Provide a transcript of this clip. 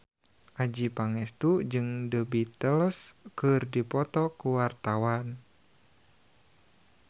Adjie Pangestu jeung The Beatles keur dipoto ku wartawan